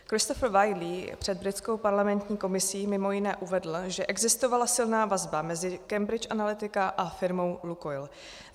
Christopher Wylie před britskou parlamentní komisí mimo jiné uvedl, že existovala silná vazba mezi Cambridge Analytica a firmou Lukoil.